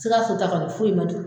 Sikasso ta kɔni foyi ma to